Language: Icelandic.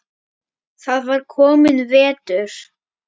Það var kominn vetur.